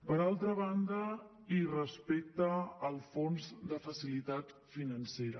per altra banda i respecte al fons de facilitat financera